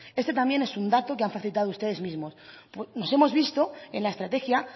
este también es un dato que han facilitado ustedes mismos no hemos visto en la estrategia